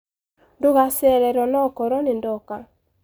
Ndacererwo nokoro ndinoka.